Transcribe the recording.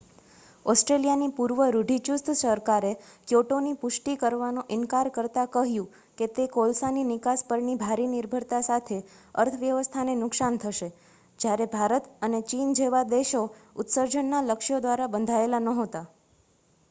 ઑસ્ટ્રેલિયાની પૂર્વ રૂઢિચુસ્ત સરકારે ક્યોટોની પુષ્ટિ કરવાનો ઇનકાર કરતાં કહ્યું કે તે કોલસાની નિકાસ પરની ભારી નિર્ભરતા સાથે અર્થવ્યવસ્થાને નુકસાન થશે જ્યારે ભારત અને ચીન જેવા દેશો ઉત્સર્જનના લક્ષ્યો દ્વારા બંધાયેલા નહોતા